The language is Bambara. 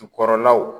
Jukɔrɔlaw